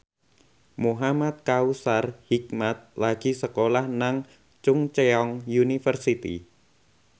Muhamad Kautsar Hikmat lagi sekolah nang Chungceong University